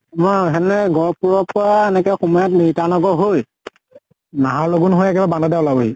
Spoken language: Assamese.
অহ গহ্পুৰৰ পৰা এনেকে সোমাই গিতানগৰ হৈ নাহৰ লগোন হৈ একেবাৰে ওলাব হি।